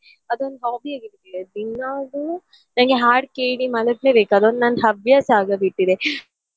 ಅದೊಂದು hobby ಆಗಿದೆ ದಿನಾಲು ನನ್ಗೆ ಹಾಡ್ ಕೇಳಿ ಮಲಗಲೇ ಬೇಕು ಅದೊಂದು ನನ್ ಹವ್ಯಾಸ ಆಗಿ ಬಿಟ್ಟಿದೆ.